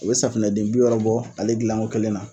U bɛ safinɛ den bi wɔɔrɔ bɔ ale dilan ko kelen na.